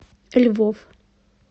львов